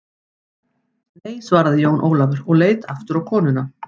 Nei, svaraði Jón Ólafur og leit aftur á konuna.